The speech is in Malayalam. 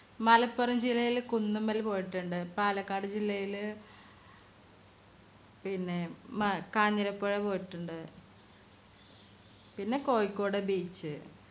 മലപ്പുറം ജില്ലയിലെ കുന്നുമ്മൽ പോയിട്ടുണ്ട് പാലക്കാട് ജില്ലയിലെ പിന്നെ കാഞ്ഞിരപ്പുഴ പോയിട്ടുണ്ട് പിന്നെ കോഴിക്കോട് beach